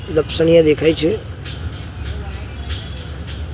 ઝપસન્યા દેખાય છે.